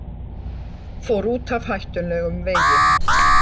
Fór út af hættulegum vegi